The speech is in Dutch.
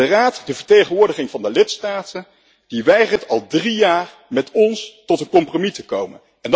Maar de Raad, de vertegenwoordiging van de lidstaten, weigert al drie jaar met ons tot een compromis te komen.